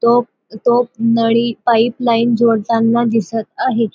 तो तो नळी पाइप लाइन जोडताना दिसत आहे.